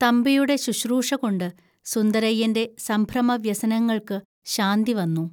തമ്പിയുടെ ശുശ്രൂഷകൊണ്ട് സുന്ദരയ്യന്റെ സംഭ്രമവ്യസനങ്ങൾക്ക് ശാന്തി വന്നു